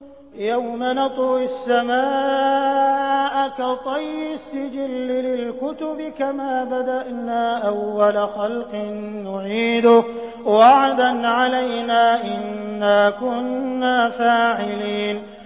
يَوْمَ نَطْوِي السَّمَاءَ كَطَيِّ السِّجِلِّ لِلْكُتُبِ ۚ كَمَا بَدَأْنَا أَوَّلَ خَلْقٍ نُّعِيدُهُ ۚ وَعْدًا عَلَيْنَا ۚ إِنَّا كُنَّا فَاعِلِينَ